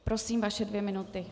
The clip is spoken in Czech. Prosím, vaše dvě minuty.